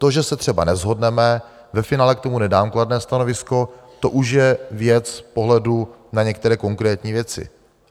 To, že se třeba neshodneme, ve finále k tomu nedám kladné stanovisko, to už je věc pohledu na některé konkrétní věci.